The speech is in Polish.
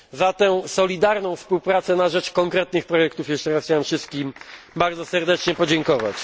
Za tę solidarną współpracę na rzecz konkretnych projektów chciałem jeszcze raz wszystkim bardzo serdecznie podziękować.